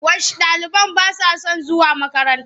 Wash ɗaliban ba sa son zuwa makaranta.